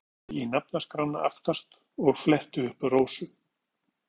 Svo ég kíkti í nafnaskrána aftast og fletti upp Rósu.